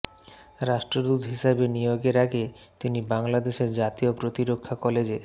রাষ্ট্রদূত হিসেবে নিয়োগের আগে তিনি বাংলাদেশের জাতীয় প্রতিরক্ষা কলেজে